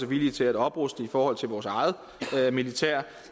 villige til at opruste i forhold til vores eget militær